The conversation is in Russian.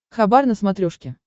хабар на смотрешке